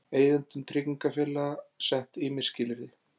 Eigendum tryggingafélaga sett ýmis skilyrði